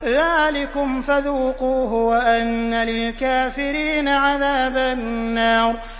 ذَٰلِكُمْ فَذُوقُوهُ وَأَنَّ لِلْكَافِرِينَ عَذَابَ النَّارِ